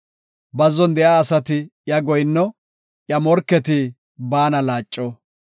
Bazzon de7iya asati iya goyinno; iya morketi baana laaco.